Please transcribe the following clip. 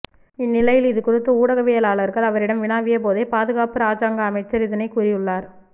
இந்நிலையில் இது குறித்து ஊடகவியலாளர்கள் அவரிடம் வினவியபோதே பாதுகாப்பு இராஜாங்க அமைச்சர் இதனை கூறியுள்ளார்